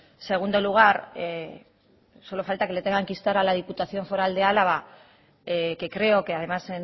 en segundo lugar solo falta que le tengan que instar a la diputación foral de álava que creo que además